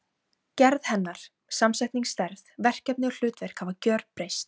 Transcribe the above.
Gerð hennar, samsetning, stærð, verkefni og hlutverk hafa gjörbreyst.